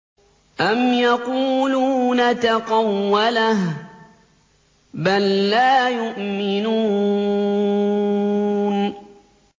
أَمْ يَقُولُونَ تَقَوَّلَهُ ۚ بَل لَّا يُؤْمِنُونَ